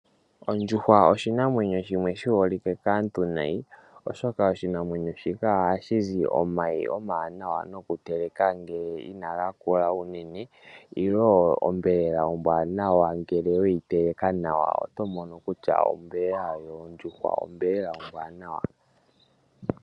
Ondjuhwa oshinamwenyo shimwe shiholike kaantu nayi oshoka oshinamwenyo shika ohashi zi omayi omawana nokuteleka ngele kageshi omanene uunene nenge onyama ombwanawa weyi teleka nawa oto mono kutya onyama yondjuhwa onyama ombwanawa.